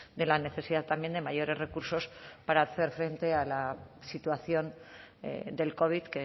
de la necesidad también de mayores recursos para hacer frente a la situación del covid